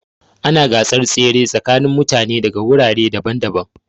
Ana gasar tsere tsakanin mutane daga wurare daban-daban.